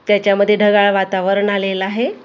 त्याच्यामध्ये ढगाळ वातावरण आलेलं आहे हिरवी--